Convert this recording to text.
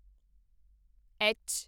H